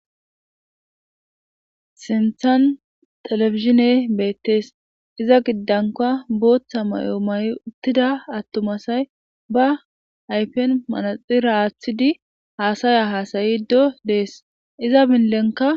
sinthan telefizine beettees iza giddanka booththa may7o may7 uttida attumasay ba aypen manaxira aaththidi haasaya haasayido dees iza binlenka